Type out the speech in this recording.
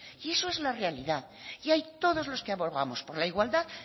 y eso es la realidad y ahí todos los que abogamos por la igualdad